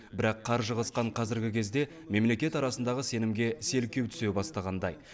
бірақ қаржы қысқан қазіргі кезде мемлекеттер арасындағы сенімге селкеу түсе бастағандай